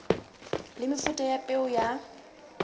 le mefuta ya peo ya